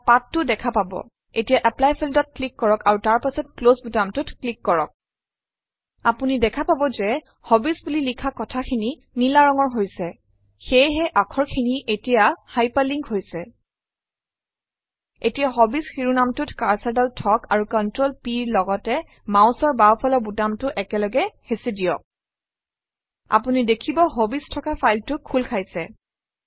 তাত পাঠ টো দেখা পাব এতিয়া এপ্লাই Field অত ক্লিক কৰক আৰু তাৰ পাছত ক্লছ বুটামটোত ক্লিক কৰক আপুনি দেখা পাব যে হবিজ বুলি লিখা কথাখিনি নীলা ৰঙৰ হৈছে সেয়েহে আখৰ খিনি এতিয়া হাইপাৰ লিন্ক হৈছে এতিয়া হবিজ শিৰোনামটোত কাৰ্চৰডাল থওক আৰু ControlP ৰ লগতে মাউচৰ বাওঁফালৰ বুটামটো একেলগে হেঁচি দিয়ক আপুনি দেখিব হবিজ থকা ফাইলটো খোল খাইছে